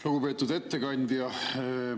Lugupeetud ettekandja!